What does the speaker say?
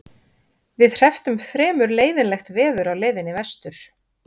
Við hrepptum fremur leiðinlegt veður á leiðinni vestur.